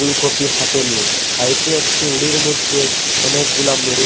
ফুলকপি হাতে নিয়ে সাইডে একটি উরির মইধ্যে অনেকগুলা মুড়ি